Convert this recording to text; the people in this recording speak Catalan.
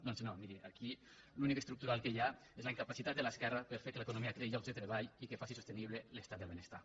doncs no miri aquí l’únic estructural que hi ha és la incapacitat de l’esquerra per fer que l’economia creï llocs de treball i que faci sostenible l’estat del benestar